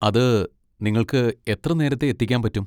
അത് നിങ്ങൾക്ക് എത്ര നേരത്തെ എത്തിക്കാൻ പറ്റും?